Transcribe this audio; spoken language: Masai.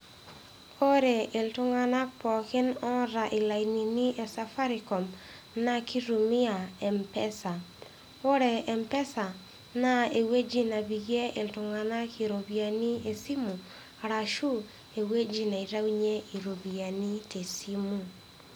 Ore iltung'anak pooki oota ilainini le Safaricom naa keitumia Mpesa. Ore Mpesa naa ewueji nepiekie iltung'anak iropiyiani esimu arashu ewueji neitayunye iropiyinai tesimu.